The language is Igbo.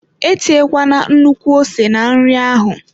Etinyekwala nnukwu ose na nri ahụ.